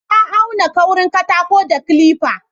Na auna kaurin katako da kalifa